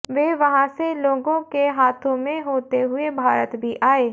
वे वहां से लोगों के हाथों में होते हुए भारत भी आए